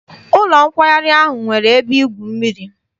Ụlọ nkwari ahụ nwere ebe igwu mmiri.